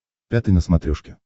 пятый на смотрешке